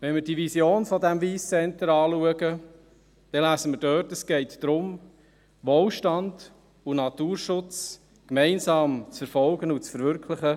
Wenn wir die Vision dieses Wyss Centre anschauen, lesen wir dort, es gehe darum, Wohlstand und Naturschutz gemeinsam zu verfolgen und zu verwirklichen.